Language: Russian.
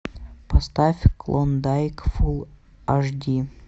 поставь клондайк фул аш ди